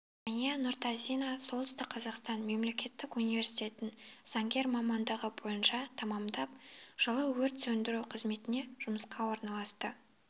жәния нұртазина солтүстік қазақстан мемлекеттік университетін заңгер мамандығы бойынша тәмамдап жылы өрт сөндіру қызметіне жұмысқа орналасты